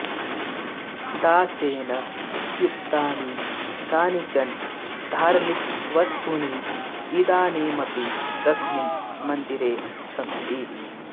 दासेन उपयुक्तानि कानिचन धार्मिकवस्तूनि इदानीमपि तस्मिन् मन्दिरे सन्ति